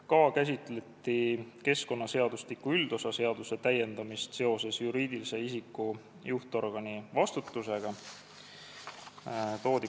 Ka käsitleti keskkonnaseadustiku üldosa seaduse täiendamist seoses juriidilise isiku juhtorgani vastutusega.